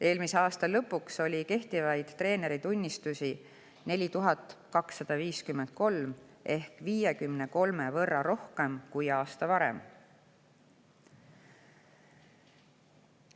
Eelmise aasta lõpuks oli kehtivaid treeneritunnistusi 4253 ehk 53 võrra rohkem kui aasta varem.